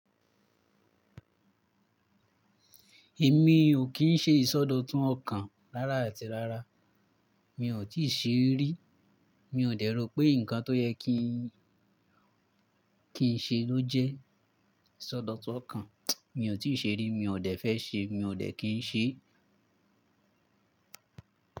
Èmi ò kì ń ṣe ìsọdọ̀tun ọ̀kan rárá àti rárá. Mi ò tíì ṣe rí. Mi ò dẹ̀ rò pé nǹkan tó yẹ kí n ṣe ló jẹ́ ìsọdọ̀tun ọ̀kan. Mi ò tíì ṣe rí, mi ò dẹ́ fẹ́ ṣe, mi ò dẹ́ kí n ṣe.